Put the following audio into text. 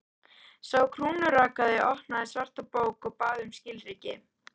Sá krúnurakaði opnaði svarta bók og bað um skilríki.